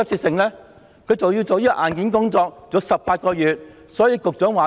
政府還要進行硬件工作，需時18個月。